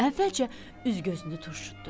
Əvvəlcə üz-gözünü turşutdu.